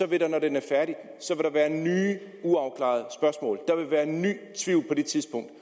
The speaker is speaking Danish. vil der når den er færdig være nye uafklarede spørgsmål der vil være ny tvivl på det tidspunkt